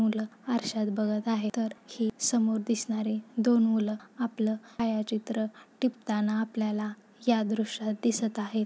मूल आरश्यात बघत आहेत तर हे समोर दिसनारे दोन मुल आपल छायाचित्र टिपताना आपल्याला या दृश्यात दिसत आहेत.